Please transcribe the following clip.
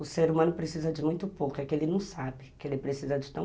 O ser humano precisa de muito pouco, é que ele não sabe que ele precisa de tanto.